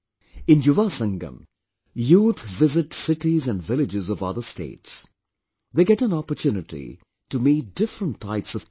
In 'Yuvasangam' youth visit cities and villages of other states, they get an opportunity to meet different types of people